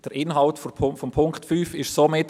Der Inhalt von Punkt 5 ist somit: